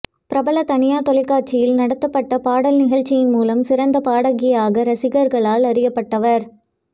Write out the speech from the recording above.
பிரபல தனியார் தொலைக்காட்சியில் நடத்தப்பட்ட பாடல் நிகழ்ச்சியின் மூலம் சிறந்த பாடகியாக ரசிகர்களால் அறியப்பட்டவர்